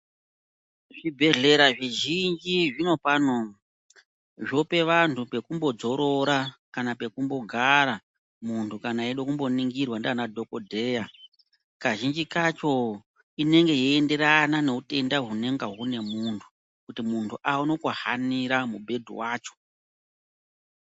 Zvibhedhlera zvizhinji zvinopano zvopa vantu pekumbodzorora kana pekumbogara muntu kana eida kumboningirwa ndiana dhokodheya. Kazhinji kacho inenge yeienderana neutenda hunenge hune muntu kuti muntu aone kuhanira mubhedhu wacho.